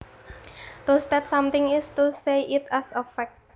To state something is to say it as a fact